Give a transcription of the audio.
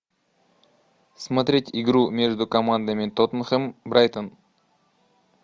смотреть игру между командами тоттенхэм брайтон